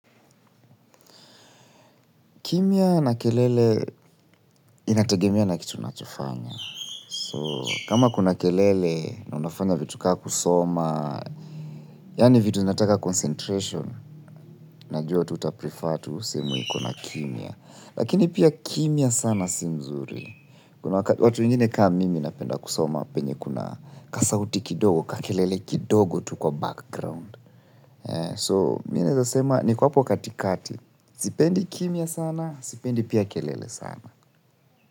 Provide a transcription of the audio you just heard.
Kimya na kelele inategemea na kitu unachofanya. So, kama kuna kelele na unafanya vitu kama kusoma, yani vitu zinataka concentration, najua tu utaprifaa tu sehemu iko na kimya. Lakini pia kimya sana si nzuri. Kuna watu wengine kama mimi napenda kusoma, penye kuna ka sauti kidogo, ka kelele kidogo tu kwa background. So, mimi naweza sema, niko hapo katikati. Sipendi kimya sana, sipendi pia kelele sana.